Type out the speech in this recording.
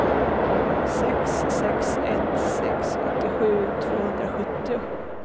sex sex ett sex åttiosju tvåhundrasjuttio